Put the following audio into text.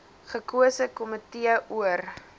gekose komitee oor